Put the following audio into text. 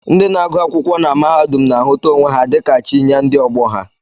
Ndị na-agụ akwụkwọ na mahadum na-ahụta onwe ha dịka chi nye ndị ọgbọ ha